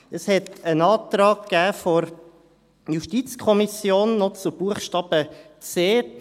Es gab noch einen Antrag der JuKo zu Buchstaben c.